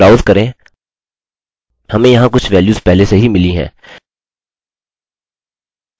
यहाँ ब्राउज़ करें हमें यहाँ कुछ वैल्युस पहले से ही मिली हैं